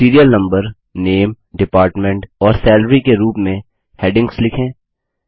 serial number name department और salary के रूप में हैडिंग्स लिखें